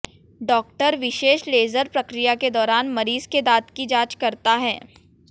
डॉ विशेष लेजर प्रक्रिया के दौरान मरीज के दांत की जांच करता है